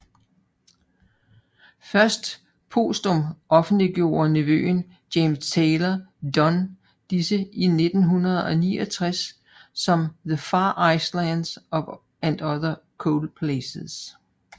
Først posthum offentliggjorte nevøen James Taylor Dunn disse i 1979 som The Far Islands and other cold places